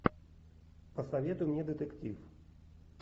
посоветуй мне детектив